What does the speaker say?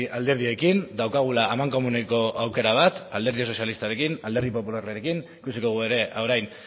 alderdiekin daukagula amankomuneko aukera bat alderdi sozialistarekin alderdi popularrarekin ikusiko dugu ere orain